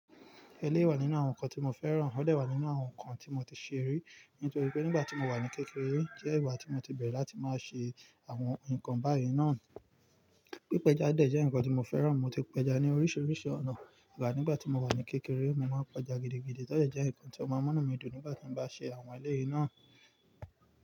Ẹleyi wà nínú àwọn nǹkan tí mo fẹ́ràn, ọ̀dẹ̀ wà nínú àwọn nǹkan tí mo ti ṣe rí, nítorí pé nígbà tí mo wà ní kékeré jẹ́ ìgbà tí mo ti bẹ̀rẹ̀ láti máa ṣe àwọn nǹkan báyìí náà. Pípẹja dẹ̀ jẹ́ nǹkan tí mo fẹ́ràn, mo ti pẹja ní oríṣiríṣi ọ̀nà, nígbà tí mo wà ní kékeré mo máa ń pẹja gidigidi, to de jẹ̀ nǹkan tí ó máa ń mú inú mi dùn nígbà tí mo bá ṣe àwọn eléyìí náà.